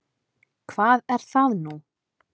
Hvar er það nú?